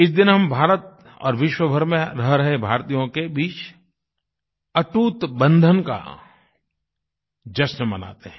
इस दिन हम भारत और विश्व भर में रह रहे भारतीयों के बीच अटूटबंधन का जश्न मनाते हैं